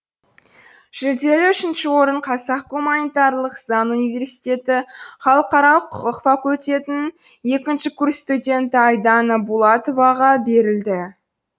жүлделі үшінші орын қазақ гуманитарлық заң университеті халықаралық құқық факультетінің екінші курс студенті айдана булатоваға берілді